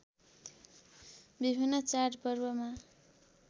विभिन्न चाडपर्वमा